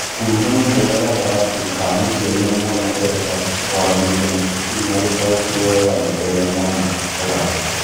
Ũkuruhanu mwega gatagatĩ ka mũciari na mwana ũrehaga kwaranĩria na cukuru na gũtaũkĩrũo wega nĩ ũrĩa mwana akũraga.